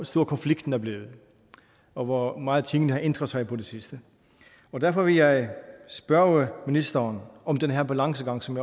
stor konflikten er blevet og hvor meget tingene har ændret sig på det seneste derfor vil jeg spørge ministeren om den her balancegang som